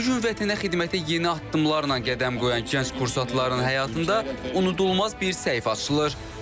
Bu gün vətənə xidmətə yeni addımlarla qədəm qoyan gənc kursantların həyatında unudulmaz bir səhifə açılır.